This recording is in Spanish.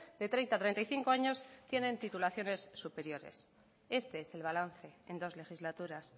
de treinta a treinta y cinco años tienen titulaciones superiores este es el balance en dos legislaturas